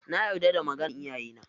Na yarda da maganan iyayena.